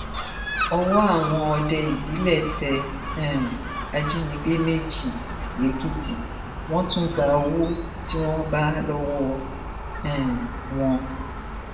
ọwọ àwọn òde ìbílẹ tẹ um ajínigbé méjì lẹkìtì wọn tún gba owó tí wọn bá lowó um wọn